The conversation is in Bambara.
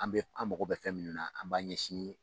An bɛ an mago bɛ fɛn minnu na an b'an ɲɛsin